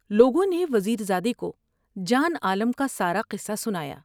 لوگوں نے وزیر زادے کو جان عالم کا سارا قصہ سنایا ۔